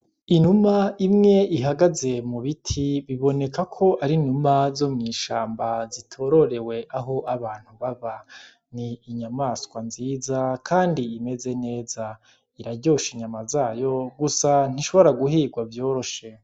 Inuma imwe ihagaze mu biti biboneka ko ari numa zo mw'ishamba zitororewe aho abantu baba ni inyamaswa nziza, kandi imeze neza iraryosha inyama zayo gusa ntishobora guhirwa vyoroshe.